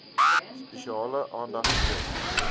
spesiale aandag skenk